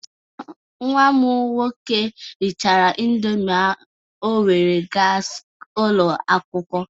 Nwa m nwoke rịchara Indomị o were gaa ụlọ akwụkwọ